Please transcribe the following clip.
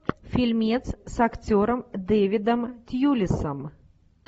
фильмец с актером дэвидом тьюлисом